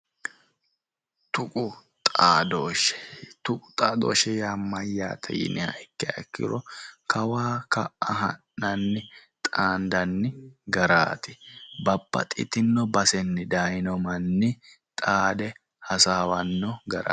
Tuqu xaadooshshe. Tuqu xaadooshshe yaa nno yiniha ikkiro kawa ka'a ha'nanni xaandanni garaati. Babbaxxitino basenni dayino manni xaade hasaawanno garaati.